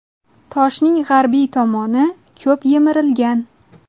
Toshning g‘arbiy tomoni ko‘p yemirilgan.